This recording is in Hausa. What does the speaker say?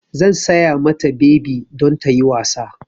Zan saya mata bebi don ta yi wasa.